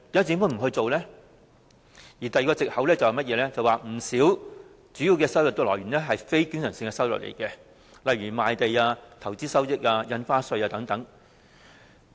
第二個藉口是，不少主要收入屬非經常性收入，例如賣地、投資收益、印花稅收入等。